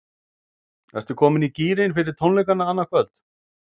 Ertu komin í gírinn fyrir tónleikana annað kvöld?